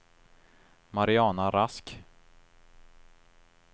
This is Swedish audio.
Mariana Rask